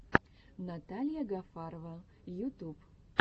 наталья гафарова ютуб